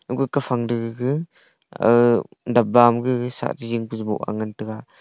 agu kafang to gege uh dapba ma gege shahche jingpe boh angan taiga.